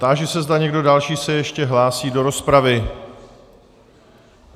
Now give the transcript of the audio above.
Táži se, zda někdo další se ještě hlásí do rozpravy.